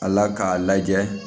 Ala k'a lajɛ